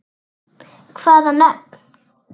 Hvaða nöfn?